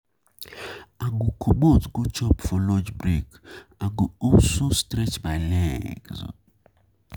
I go comot go chop for lunch break, I go also um stretch my legs.